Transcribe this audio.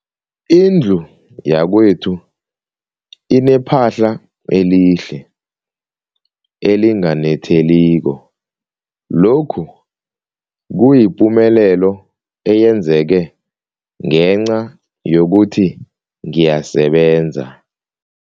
Indlu yakwethu inephahla elihle, elinganetheliko, lokhu kuyipumelelo eyenzeke ngenca yokuthi ngiyasebenza.